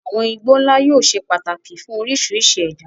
Àwọn igbó ńlá yóò ṣe pàtàkì fún oríṣiríṣi ẹ̀dá.